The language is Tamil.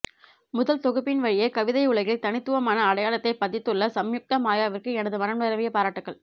முதல் தொகுப்பின் வழியே கவிதையுலகில் தனித்துவமான அடையாளத்தைப் பதித்துள்ள சம்யுக்தா மாயாவிற்கு எனது மனம் நிரம்பிய பாராட்டுகள்